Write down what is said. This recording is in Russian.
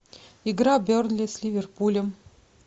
игра бернли с ливерпулем